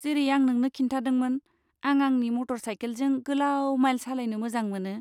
जेरै आं नोंनो खिन्थादोंमोन, आं आंनि मटरसाइकेलजों गोलाव माइल सालायनो मोजां मोनो।